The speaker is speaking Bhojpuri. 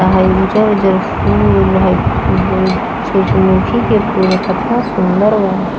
आय हेय उजर-उजर फूल-उल है उम उ सूर्यमुखी के फूल है केतना सुन्दर बा।